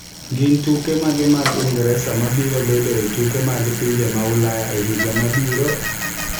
Gin tuke mage mag Ingresa mabiro bedo e tuke mag pinje mag Ulaya e higa mabiro?